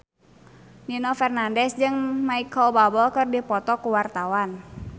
Nino Fernandez jeung Micheal Bubble keur dipoto ku wartawan